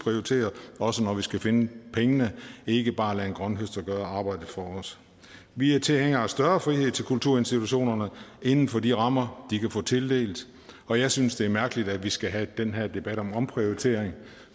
også når vi skal finde pengene ikke bare lade en grønthøster gøre arbejdet for os vi er tilhængere af større frihed til kulturinstitutionerne inden for de rammer de kan få tildelt og jeg synes det er mærkeligt at vi skal have den her debat om omprioritering